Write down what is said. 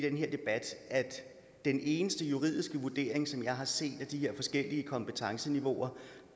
i den her debat at den eneste juridiske vurdering som jeg har set af de her forskellige kompetenceniveauer